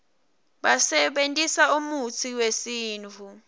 basebentisa umutsi wesintfu